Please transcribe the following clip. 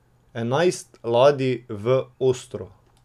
Enajst ladij v Ostro.